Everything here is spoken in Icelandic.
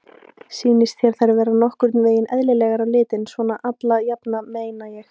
Sýnist þér þær vera nokkurn veginn eðlilegar á litinn, svona alla jafna meina ég?